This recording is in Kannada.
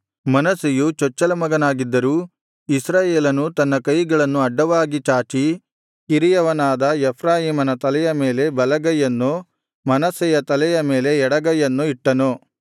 ಮನಸ್ಸೆಯು ಚೊಚ್ಚಲ ಮಗನಾಗಿದ್ದರೂ ಇಸ್ರಾಯೇಲನು ತನ್ನ ಕೈಗಳನ್ನು ಅಡ್ಡವಾಗಿ ಚಾಚಿ ಕಿರಿಯವನಾದ ಎಫ್ರಾಯೀಮನ ತಲೆಯ ಮೇಲೆ ಬಲಗೈಯನ್ನೂ ಮನಸ್ಸೆಯ ತಲೆಯ ಮೇಲೆ ಎಡಗೈಯನ್ನೂ ಇಟ್ಟನು